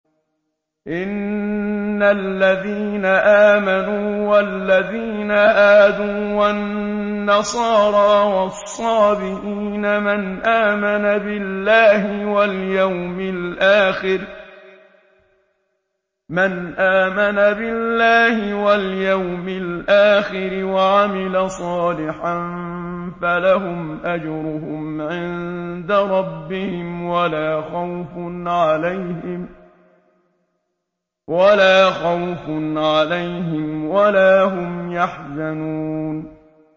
إِنَّ الَّذِينَ آمَنُوا وَالَّذِينَ هَادُوا وَالنَّصَارَىٰ وَالصَّابِئِينَ مَنْ آمَنَ بِاللَّهِ وَالْيَوْمِ الْآخِرِ وَعَمِلَ صَالِحًا فَلَهُمْ أَجْرُهُمْ عِندَ رَبِّهِمْ وَلَا خَوْفٌ عَلَيْهِمْ وَلَا هُمْ يَحْزَنُونَ